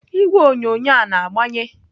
Igwe onyonyo a na-agbanye?